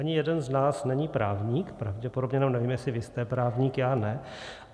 Ani jeden z nás není právník pravděpodobně, nebo nevím, jestli vy jste právník, já ne.